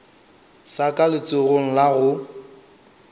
sa ka letsogong la go